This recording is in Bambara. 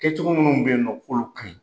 Kɛ cogo minnu bɛ en nɔ k'olu ka ɲi